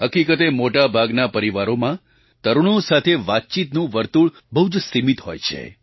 હકીકતે મોટા ભાગના પરિવારોમાં તરુણો સાથે વાતચીતનું વર્તુળ બહુ જ સીમિત હોય છે